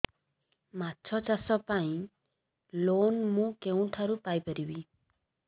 ମାଛ ଚାଷ ପାଇଁ ଲୋନ୍ ମୁଁ କେଉଁଠାରୁ ପାଇପାରିବି